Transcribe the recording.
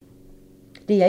DR1